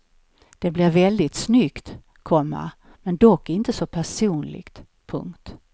Det blir väldigt snyggt, komma men dock inte så personligt. punkt